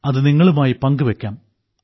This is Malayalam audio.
അതു നിങ്ങളുമായി പങ്കുവെയ്ക്കാം